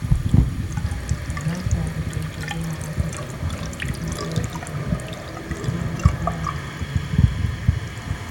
Amkerika e piny kende ma osedhi e tuke di nyenge ka en di boro